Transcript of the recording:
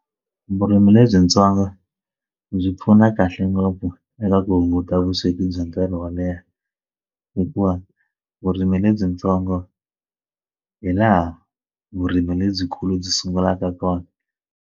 Vurimi lebyintsongo byi pfuna kahle ngopfu eka ku hunguta vusweti bya nkarhi wo leha hikuva vurimi lebyintsongo hi laha vurimi lebyikulu byi sungulaka kona.